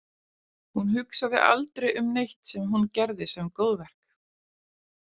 Hún hugsaði aldrei um neitt sem hún gerði sem góðverk.